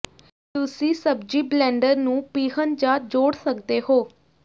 ਤੁਸੀਂ ਸਬਜ਼ੀ ਬਲਿੰਡਰ ਨੂੰ ਪੀਹਣ ਜਾਂ ਜੋੜ ਸਕਦੇ ਹੋ